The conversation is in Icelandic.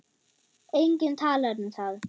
Enginn talar um það.